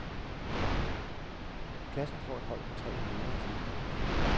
Klassen får et hold på tre lærere tilknyttet.